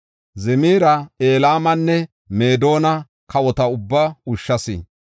Zimira, Elaamanne Meedona kawota ubbaa ushshas.